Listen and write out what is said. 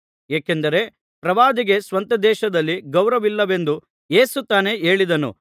ಏಕೆಂದರೆ ಪ್ರವಾದಿಗೆ ಸ್ವಂತದೇಶದಲ್ಲಿ ಗೌರವವಿಲ್ಲವೆಂದು ಯೇಸು ತಾನೇ ಹೇಳಿದ್ದನು